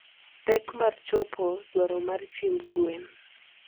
Pek mar chopo dwaro mar chiemb gwen.